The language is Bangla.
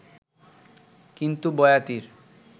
কিন্তু বয়াতির